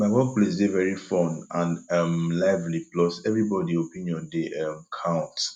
my workplace dey very fun and um lively plus everybody opinion dey um count